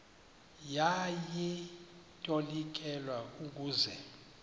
yaye itolikelwa ukuze